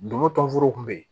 Dugu tɔnforow kun bɛ yen